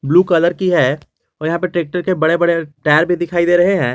Blue colour की है और यहां पे ट्रैक्टर के बड़े बड़े टायर भी दिखाई दे रहे है।